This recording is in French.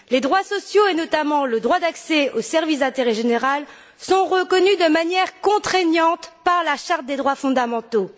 Les droits sociaux, et notamment le droit d'accès aux services d'intérêt général, sont reconnus de manière contraignante par la charte des droits fondamentaux.